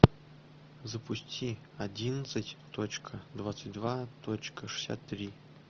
запусти одиннадцать точка двадцать два точка шестьдесят три